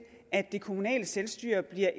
at det kommunale selvstyre bliver